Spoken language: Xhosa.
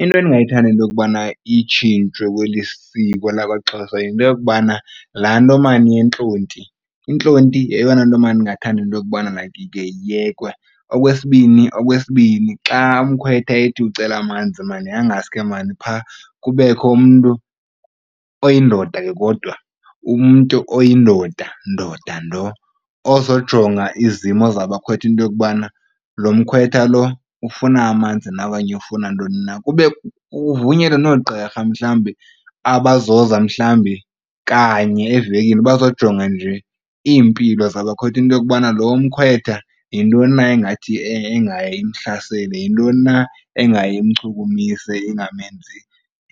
Into endingayithanda into yokubana itshintshwe kweli siko lakwaXhosa yinto yokubana laa nto maan yentlonti. Intlonti yeyona nto maan ndingathanda into yokubana mayikhe iyekwe. Okwesbini, xa umkhwetha ethi ucela amanzi maan angaske maan phaa kubekho umntu oyindoda ke kodwa umntu, oyindoda ndoda ndo ozojonga izimo zabakhwetha into yokubana lo mkhwetha lo ufuna amanzi na okanye ufuna ntoni na. Kube kuvunyelwe noogqirha mhlawumbi abazoza mhlawumbi kanye evekini bazojonga nje iimpilo zabakhwetha, into yokubana lo mkhwetha yintoni na engathi engaye imhlasele, yintoni na engaye imchukumise